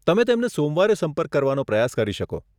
તમે તેમને સોમવારે સંપર્ક કરવાનો પ્રયાસ કરી શકો.